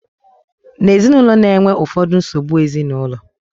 na ezinụlọ na-enwe ụfọdụ nsogbu ezinụlọ